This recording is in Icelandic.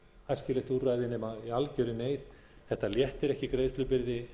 æskilegt úrræði nema í algjörri neyð þetta léttir ekki greiðslubyrði